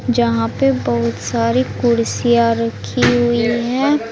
जहां पे बहुत सारी कुर्सियां रखी हुई है।